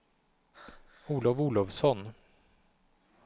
Olov Olovsson